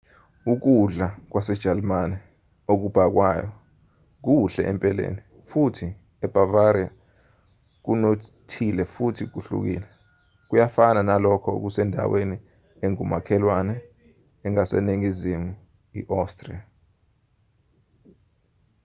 ukudla kwasejalimane okubhakwayo kuhle empeleni futhi ebavaria kunothile futhi kuhlukile kuyafana nalokho kwasendaweni engumakhelwane engaseningizimu i-austria